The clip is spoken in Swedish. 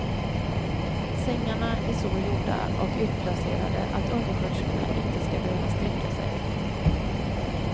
Sängarna är så gjorda och utplacerade att undersköterskorna inte ska behöva sträcka sig.